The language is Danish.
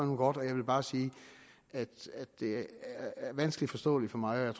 nu godt jeg vil bare sige at det er vanskeligt forståeligt for mig og